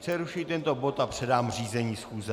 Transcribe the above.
Přerušuji tento bod a předám řízení schůze.